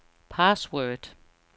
password